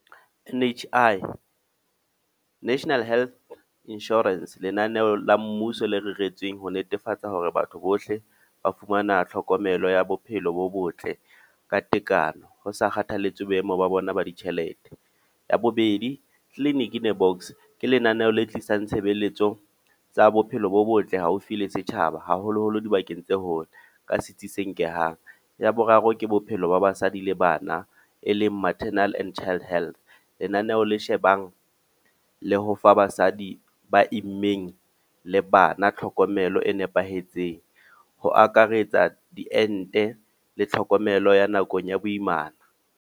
N_H_I, National Health Insurance. Lenaneo la mmuso le reretsweng ho netefatsa hore batho bohle, ba fumana tlhokomelo ya bophelo bo botle ka tekano. Ho sa kgathaletse boemo ba bona ba ditjhelete. Ya bobedi, Clinic In A Box, ke lenaneo le tlisang tshebeletso tsa bophelo bo botle haufi le setjhaba. Haholo-holo dibakeng tse hole ka setsi se nke yang. Ya boraro ke bophelo ba basadi le bana, e leng Maternal and Child Health. Lenaneo le shebang le ho fa basadi ba immeng le bana tlhokomelo e nepahetseng. Ho akaretsa diente le tlhokomelo ya nakong ya boimana.